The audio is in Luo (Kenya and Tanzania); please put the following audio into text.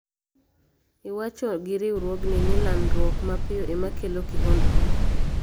Iwacho gi riwruogni ni landruok mapiyo ema kelo kihondko